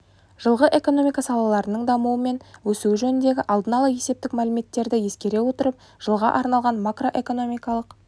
жылғы экономика салаларының дамуы мен өсуі жөніндегі алдын ала есептік мәліметтерді ескере отырып жылға арналған макроэкономикалық